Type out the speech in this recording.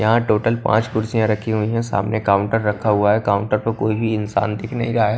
यहां टोटल पांच कुर्सियां रखी हुई हैं सामने काउंटर रखा हुआ है काउंटर पर कोई भी इंसान दिख नहीं रहा है।